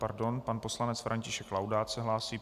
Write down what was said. Pardon, pan poslanec František Laudát se hlásí.